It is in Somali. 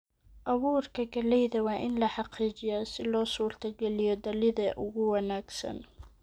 Abuurka galleyda waa in la xaqiijiyaa si loo suurtageliyo dhalidda ugu wanaagsan.